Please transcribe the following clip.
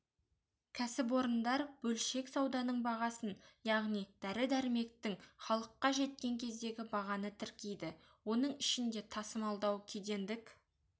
кәсіпорындар бөлшек сауданың бағасын яғни дәрі-дәрмектің іалыққа жеткен кездегі бағаны тіркейді оның ішінде тасымалдау кедендік